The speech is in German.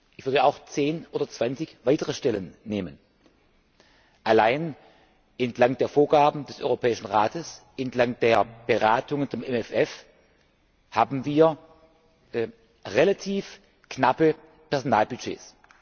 Ich würde auch zehn oder zwanzig weitere Stellen nehmen, allein entlang der Vorgaben des Europäischen Rates, entlang der Beratungen zum MFR haben wir relativ knappe Personalbudgets.